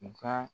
U ka